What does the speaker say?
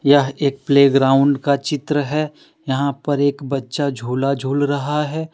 यह एक प्लेग्राउड का चित्र है यहां पर एक बच्चा झूला झूल रहा है।